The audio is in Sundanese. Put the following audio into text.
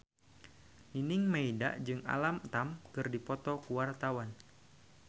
Nining Meida jeung Alam Tam keur dipoto ku wartawan